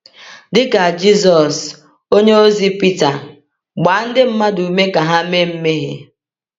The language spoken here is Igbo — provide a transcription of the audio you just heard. Dị ka Jisọs, onyeozi Pita gbaa ndị mmadụ ume ka ha mee mmehie.